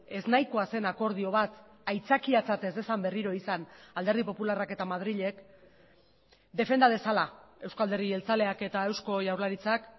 eznahikoa zen akordio bat aitzakiatzat ez dezan berriro izan alderdi popularrak eta madrilek defenda dezala euzko alderdi jeltzaleak eta eusko jaurlaritzak